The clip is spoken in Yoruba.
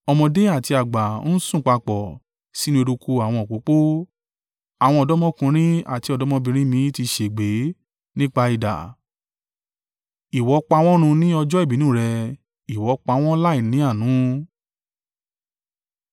“Ọmọdé àti àgbà ń sùn papọ̀ sínú eruku àwọn òpópó; àwọn ọ̀dọ́mọkùnrin àti ọ̀dọ́mọbìnrin mi ti ṣègbé nípa idà. Ìwọ pa wọ́n run ní ọjọ́ ìbínú rẹ, Ìwọ pa wọ́n láìní àánú.